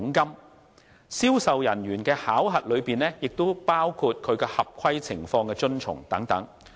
而銷售人員的考核中，也包括其合規情況等。